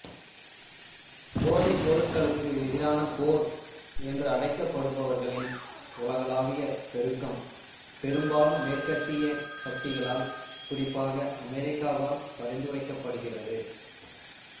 போதைப்பொருட்களுக்கு எதிரான போர் என்று அழைக்கப்படுபவர்களின் உலகளாவிய பெருக்கம் பெரும்பாலும் மேற்கத்திய சக்திகளால் குறிப்பாக அமெரிக்காவால் பரிந்துரைக்கப்படுகிறது